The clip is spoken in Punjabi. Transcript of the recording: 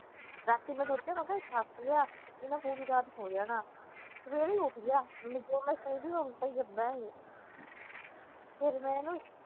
ਰਾਤੀ ਮੈ ਸੋਚਿਆ ਮੈ ਕਿਹਾ ਥੱਕ ਗਿਆ ਇਹਨੇ ਪੂਰੀ ਰਾਤ ਸੋ ਜਾਣਾ ਸਵੇਰੇ ਈ ਉਠਗਿਆ ਜੋ ਮੈ ਸੋਚਦੀ ਉਹ ਉਲਟਾ ਈ ਕਰਦਾ ਏ ਫਿਰ ਮੈ ਇਹਨੂੰ